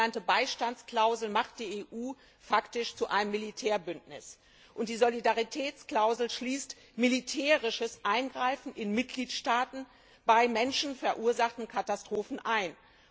Die sogenannte Beistandsklausel macht die EU faktisch zu einem Militärbündnis, und die Solidaritätsklausel schließt militärisches Eingreifen in Mitgliedstaaten bei von Menschen verursachten Katastrophen ein.